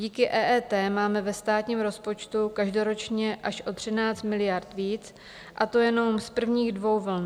Díky EET máme ve státním rozpočtu každoročně až o 13 miliard víc, a to jenom z prvních dvou vln.